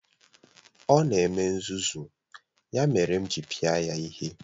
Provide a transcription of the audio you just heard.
Ọ na-eme nzuzu, ya mere m jiri pịa ya ihe.